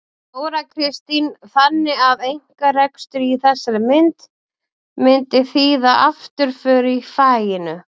Þóra Kristín: Þannig að einkarekstur í þessari mynd myndi þýða afturför í faginu?